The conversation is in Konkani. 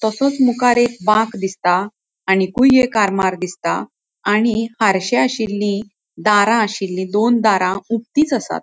तासोंच मुखार एक बाक दिसता आणिकुय एक आरमार दिसता आणि आरशे आशिल्ली दारा आशिल्ली दोन दारा उगतीच असात.